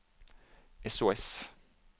sos